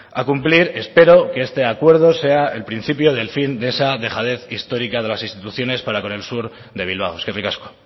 a cumplir espero que este acuerdo sea el principio del fin de esa dejadez histórica de las instituciones para con el sur de bilbao eskerrik asko